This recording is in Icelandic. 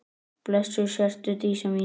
Blessuð sértu Dísa mín.